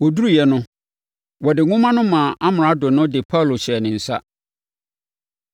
Wɔduruiɛ no, wɔde nwoma no maa Amrado no de Paulo hyɛɛ ne nsa.